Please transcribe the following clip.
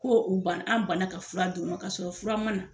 Ko u banan an banna ka fura d' o ma k'a sɔrɔ fura ma na